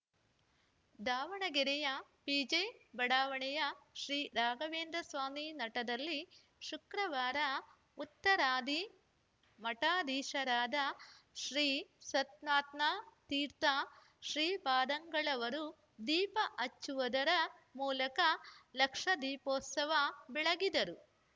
ದಾವಣಗೆರೆಯ ಪಿಜೆ ಬಡಾವಣೆಯ ಶ್ರೀರಾಘವೇಂದ್ರ ಸ್ವಾಮಿ ಮಠದಲ್ಲಿ ಶುಕ್ರವಾರ ಉತ್ತರಾಧಿ ಮಠಾಧೀಶರಾದ ಶ್ರೀ ಸತ್ಮಾತ್ಮ ತೀರ್ಥ ಶ್ರೀಪಾದಂಗಳವರು ದೀಪ ಹಚ್ಚುವುದರ ಮೂಲಕ ಲಕ್ಷ ದೀಪೋತ್ಸವ ಬೆಳಗಿದರು